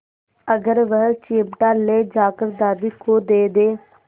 अगर वह चिमटा ले जाकर दादी को दे दे